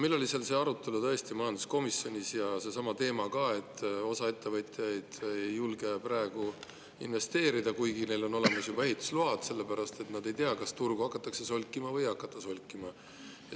Meil tõesti oli see arutelu majanduskomisjonis ja selsamal teemal ka, et osa ettevõtjaid ei julge praegu investeerida, kuigi neil on olemas juba ehitusload, sellepärast et nad ei tea, kas turgu hakatakse solkima või ei hakata solkima.